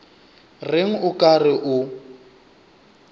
reng o ka re o